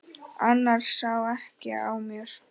Annars sá ekki á mér.